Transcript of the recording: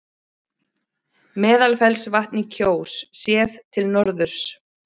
Meðalfellsvatn í Kjós, séð til norðurs.